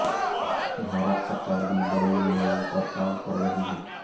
भारत सरकार भी बड़े लेवल पर काम कर रही है